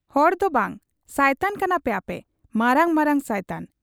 ᱦᱚᱲᱫᱚ ᱵᱟᱝ ᱥᱟᱭᱛᱟᱱ ᱠᱟᱱᱟᱯᱮ ᱟᱯᱮ, ᱢᱟᱨᱟᱝ ᱢᱟᱨᱟᱝ ᱥᱟᱭᱛᱟᱱ ᱾